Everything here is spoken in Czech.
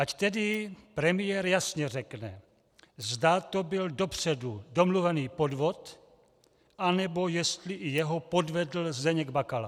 Ať tedy premiér jasně řekne, zda to byl dopředu domluvený podvod, anebo jestli i jeho podvedl Zdeněk Bakala.